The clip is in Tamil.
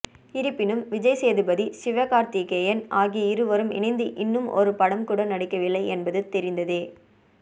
இருப்பினும் விஜய் சேதுபதி சிவகார்த்திகேயன் ஆகிய இருவரும் இணைந்து இன்னும் ஒரு படம் கூட நடிக்கவில்லை என்பது தெரிந்ததே